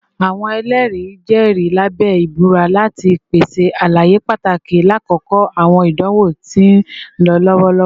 Awọn ẹlẹri jẹri labẹ ibura lati pese alaye pataki lakoko awọn idanwo ti nlọ lọwọ